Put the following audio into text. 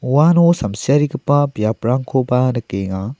uano samsiarigipa biaprangkoba nikenga.